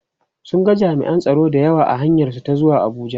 sun ga jami'an tsaro da yawa a hanyar su ta zuwa Abuja